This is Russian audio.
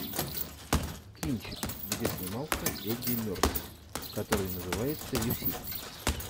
кинчик где снимался эдди мерфи который называется люси